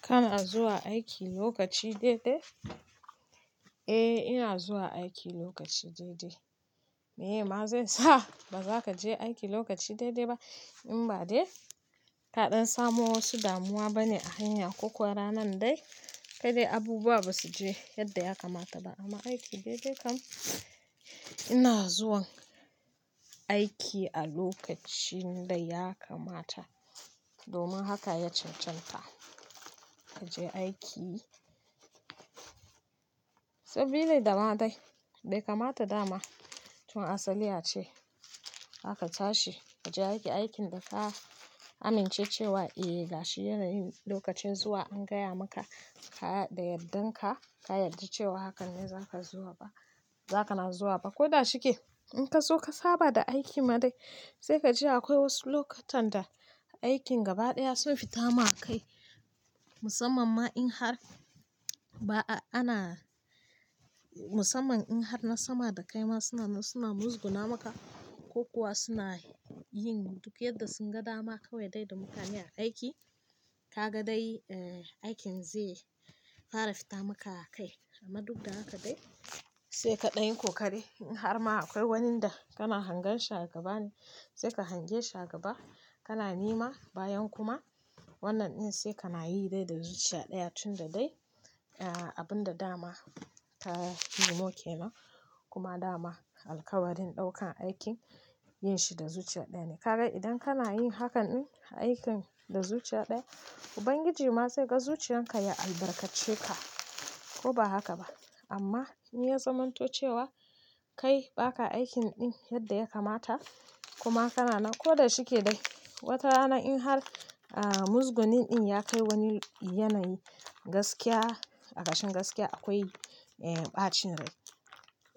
Kana zuwa aiki lokaci daidai? Eh ina zuwa aiki lokaci daidai. Me ma zai sa ba zaka je aiki lokaci daidai ba in ba dai? Kaɗan samo wasu damuwa bane a hanya ko kuwa ranan dai kai dai abubuwa ba su je yadda ya kamata ba amma aiki daidai kam ina zuwan aiki a lokacin daya kamata domin haka ya cancanta ka je aiki. Sabili da ma dai bai kamata da ma tun asaliya ace aka tashi kaje aiki aikin da ka amince cewa eh gashi yanayin lokacin zuwa an gaya maka ka da yardanka ka yarda cewa hakan ne zaka zuwa ba, zaka na zuwa ba. Ko da shike in kazo ka saba da aiki ma dai sai kaji akwai wasu lokutan da aikin gaba ɗaya sun fita ma kai musamman ma in har ba'a ana-- musamman in har na sama da kai ma suna, suna muzguna maka ko kuwa suna yin duk yadda sun gadama kawai dai da mutane a aiki. Kaga dai eh aikin zai fara fita maka kai amma duk da haka dai saika ɗan kokari. In har ma aƙwai wani da kana hangan shi gaba ne sai ka hange shi a gaba. Kana nema bayan kuma wannan ɗin sai kana yi dai da zuciya ɗaya tun da dai abun da daqma ka nemo kenan kuma dama alkawarin ɗaukan aikin yin shi da zuciya ɗaya ne. Kaga idan kana yin hakan ɗin aikin da zuciya ɗaya Ubangiji ma zai ga zuciyan ka ya albarkace ka ko ba haka ba. Amma in ya zamanto cewa kai baka aikin ɗin yadda ya kamata kuma kana nan koda shike dai wata rana in har muzgunin ɗin ya kai wani yanayi gaskiya a ƙashin gaskiya aƙwai ɓacin rai.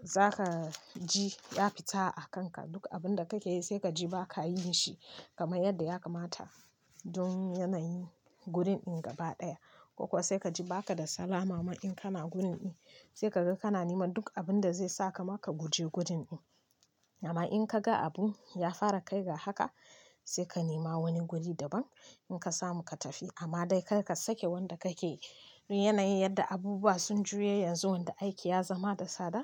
Zaka ji ya fita a kanka duk abun da kake yi sai kaji baka yi shi kamar yadda ya kamata don yanayi gurin ɗin gaba ɗaya ko kuwa sai kaji baka da salama in kana gurin ɗin. Sai kaga kana nema duk abun da zai saka maka guje gurin ɗin. Amma in ka ga abu ya fara kai ga haka sai ka nema wani guri daban inka samu ka tafi amma dai karka sake wanda kake dun yanayi yadda abubuwa sun juye yanzu wanda aiki ya zama da tsada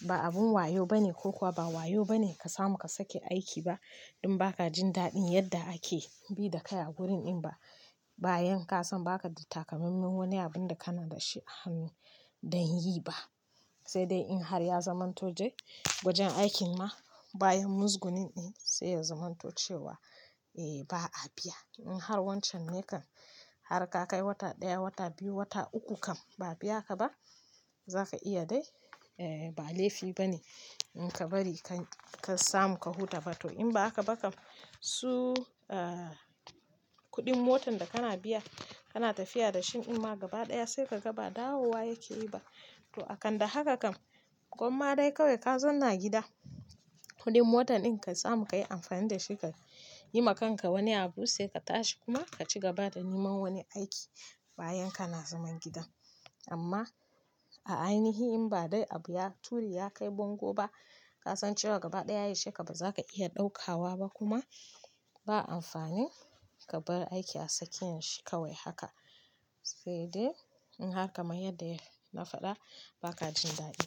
ba abin wayo bane ko kuwa ba wayo bane ka samu ka sake aiki ba in baka jin daɗin yadda ake bi dakai a gurin ɗin ba. Bayan kasan baka da takamaiman wani abun da kana dashi a hannu dan yi ba. Sai dai in har ya zamanto dai gwajen aikin ma bayan muzgunin ɗin sai ya zamanto cewa eh ba'a biya. In har wancan ne kan har kakai wata ɗaya, wata biyu, wata uku kam ba'a biya ka ba zaka iya dai ba laifi bane inka bari ka samu ka huta ba to in ba haka ba kam su kuɗin motan da kana biya kana tafiya dashi in ma gaba ɗaya sai kaga ba dawowa yake yi ba. To akan da haka kam gwamma dai kawai ka zanna gida kuɗin motan ɗin ka samu ka yi amfani da shi ka yi ma kanka wani abu sai ka tashi kuma ka ci gaba da neman wani aiki bayan kana zaman gida. Amma a ainihi in ba dai abu ya turi ya kai bango ba kasan cewa gaba ɗaya yaushe ka bazaka iya ɗaukawa ba kuma ba amfani ka bar aiki a tsakiyan shi shi kawai haka. Sai dai in har kamar yadda ya nafaɗa baka jin daɗi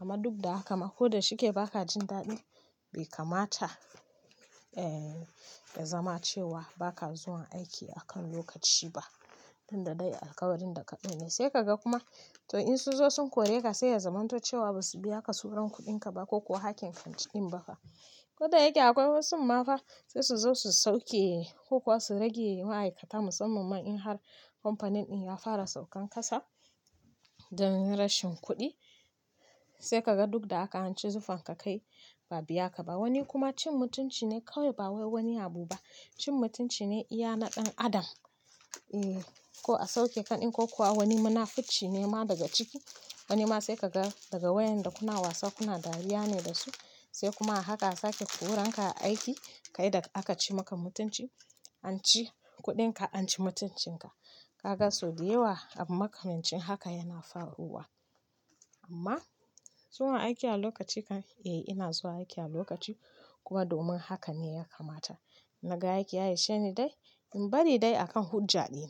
amma duk da haka ma koda shike baka jin daɗi bai kamata eh ya zama cewa baka zuwa aiki akan lokaci ba tunda dai alkawarin da ka ɗau ne. Sai kaga kuma to in sunzo sun kore ka sai ya zamanto cewa basu biya ka suran kuɗinka ba ko kuwa hakkin kanti ɗin ba ka. Ko da yake akwai wasu ma fa saisu zo su sauke ko kuwa su rage ma'aikata musamman ma in har kamfanin ɗin ya fara saukan ƙasa don rashin kuɗi. Sai kaga dukda haka hanci zufan ka kai ba'a biya ka ba wani kuma cin mutunci ne kawai ba wai wani abu ba. Cin mutunci ne iya na ɗan adam. Ko a sauke ka ɗin ko kuwa wani munafuci ne ma daga ciki wani ma sai kaga daga waƴanda kuna wasa kuna dariya ne dasu sai kuma a haka sake koranka a aiki kaida aka ci maka mutunci. An ci kuɗinka an ci mutuncinka. Kaga sau da yawa abu makamancin haka yana faruwa. Amma zuwa aiki a lokaci kan eh ina zuwa aiki a lokaci kuwa domin haka ne ya kamata. Naga aiki ya isheni dai in bari dai akan hujja ɗina.